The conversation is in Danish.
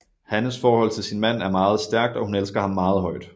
Hannes forhold til sin mand er meget stærkt og hun elsker ham meget højt